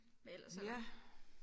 Hvad ellers er der